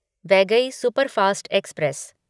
Vaigai superfast express